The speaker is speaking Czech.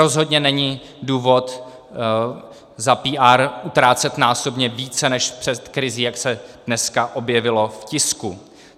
Rozhodně není důvod za PR utrácet násobně více než před krizí, jak se dneska objevilo v tisku.